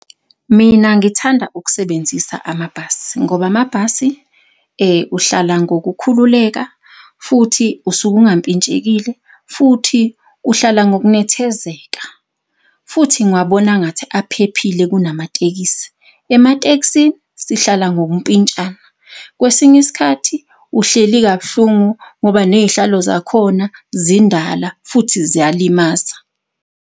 Mina ngithanda ukusebenzisa amabhasi, ngoba amabhasi uhlala ngokukhululeka futhi usuke ungampintshekile, futhi uhlala ngokunethezeka. Futhi ngiwabona engathi aphephile kunamatekisi, ematekisini sihlala ngokumpintshana. Kwesinye isikhathi uhleli kabuhlungu ngoba ney'hlalo zakhona zindala futhi ziyalimaza.